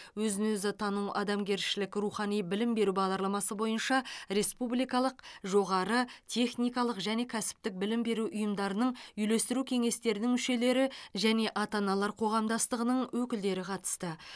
өзін өзі тану адамгершілік рухани білім беру бағдарламасы бойынша республикалық жоғары техникалық және кәсіптік білім беру ұйымдарының үйлестіру кеңестерінің мүшелері және ата аналар қоғамдастығының өкілдері қатысты